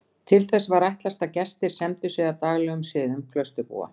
Til þess var ætlast að gestir semdu sig að daglegum siðum klausturbúa.